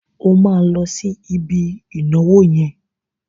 O máa lọ sí ibi ìnáwó yẹn.